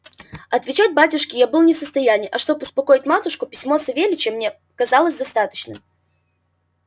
отвечать батюшке я был не в состоянии а чтоб успокоить матушку письмо савельича мне показалось достаточным